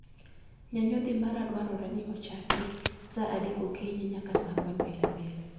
Nyanyodhi mara dwarore ni ochaki sa adek okinyi nyaka sa ang'wen pile pile